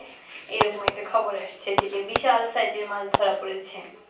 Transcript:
এরকম একটা খবর আসছে যে বিশাল size এর একটা মাছ ধরা পড়েছে